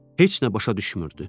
Heç nə başa düşmürdü.